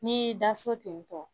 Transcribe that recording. N'i y'i da so ten tɔ